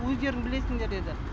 өздерің білесіңдер деді